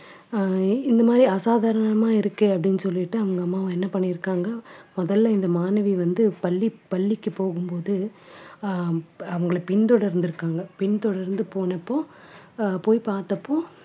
அஹ் இந்த மாதிரி அசாதாரணமா இருக்கு அப்படீன்னு சொல்லிட்டு அவங்க அம்மாவும் என்ன பண்ணியிருக்காங்க முதல்ல இந்த மாணவி வந்து பள்ளி பள்ளிக்குப் போகும்போது அஹ் ப~ அவங்களைப் பின்தொடர்ந்து இருக்காங்க பின்தொடர்ந்து போனப்போ அஹ் போய் பார்த்தப்போ